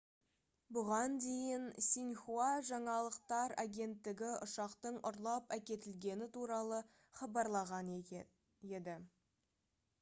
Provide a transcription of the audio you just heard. бұған дейін синьхуа жаңалықтар агенттігі ұшақтың ұрлап әкетілгені туралы хабарлаған еді